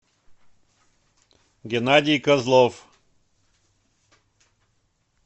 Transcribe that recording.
геннадий козлов